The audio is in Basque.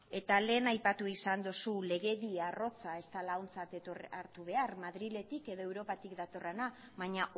eta lehen aipatu izan duzu legedia arrotza ez dela ontzat hartu behar madriletik edo europatik datorrena baina